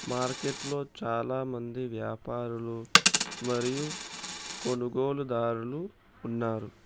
మార్కెట్లో చాలామంది వ్యాపారులు మరియు కొనుగోలుదారులు ఉన్నారు.